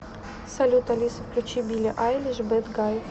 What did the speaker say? салют алиса включи билли айлиш бэд гай